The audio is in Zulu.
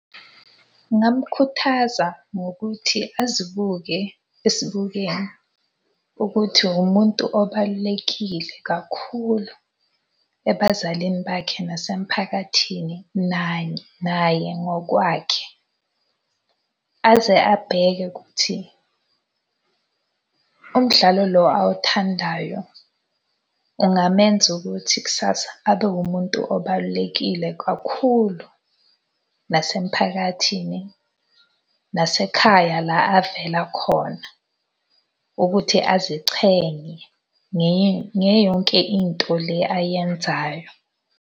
Ngingamkhuthaza ngokuthi azibuke esibukweni ukuthi umuntu obalulekile kakhulu ebazalini bakhe nasemphakathini naye ngokwakhe. Aze abheke ukuthi umdlalo lo awuthandayo ungamenza ukuthi kusasa abe wumuntu obalulekile kakhulu nasemphakathini, nasekhaya la avela khona ukuthi azichenye ngayo yonke into le ayenzayo.